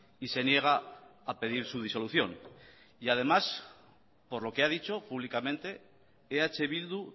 y se niega a pedir su disolución y además por lo que ha dicho públicamente eh bildu